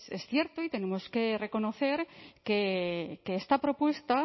es cierto y tenemos que reconocer que esta propuesta